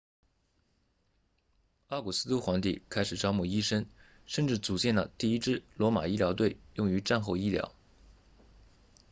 奥古斯都皇帝开始招募医生甚至组建了第一支罗马医疗队用于战后医疗